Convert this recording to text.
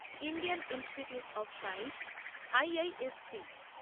Indian institute of science IISc